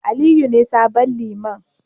Aliyu ne sabon Liman.